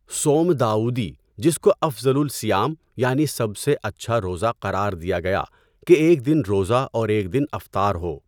صوم داؤدی جس کو افضلُ الصِیام، یعنی سب سے اچھا روزہ قرار دیا گیا کہ ایک دن روزہ اور ایک دن افطار ہو۔